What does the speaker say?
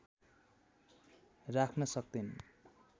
राख्न सक्तैनन्